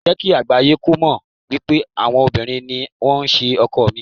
Jẹ́ kí àgbáyé kó mọ̀ wípé àwọn obìnrin ni wón ṣe ọkọ̀ ẹ̀mí.